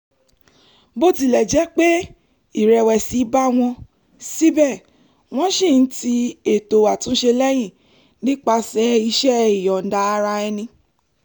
bó tilẹ̀ jẹ́ pé ìrẹ̀wẹ̀sì bá wọn síbẹ̀ wọ́n ṣì ń ti ètò àtúnṣe lẹ́yìn nípasẹ̀ iṣẹ́ ìyọ̀ǹda ara ẹni